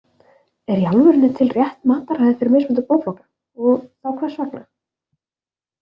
Er í alvörunni til rétt mataræði fyrir mismunandi blóðflokka og þá hvers vegna?